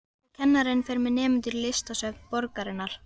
Og kennarinn fer með nemendur í listasöfn borgarinnar.